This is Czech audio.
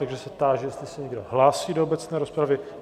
Takže se táži, jestli se někdo hlásí do obecné rozpravy.